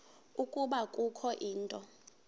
ukuba kukho into